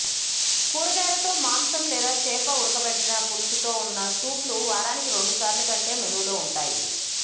కూరగాయలతో మాంసం లేదా చేప ఉడకబెట్టిన పులుసుతో ఉన్న సూప్లు వారానికి రెండుసార్లు కంటే మెనూలో ఉంటాయి